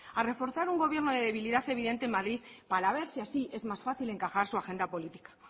a reforzar un gobierno de debilidad evidente en madrid para ver si así es más fácil encajar su agenda política